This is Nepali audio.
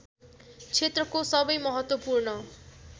क्षेत्रको सबै महत्त्वपूर्ण